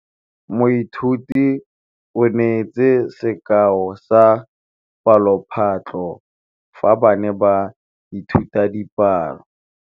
Moithuti o neetse sekaô sa palophatlo fa ba ne ba ithuta dipalo.